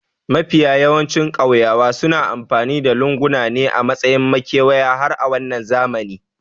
Mafiya yawancin ƙauyawa suna amfani da lunguna ne a matsayin makewayi har a wannan zamani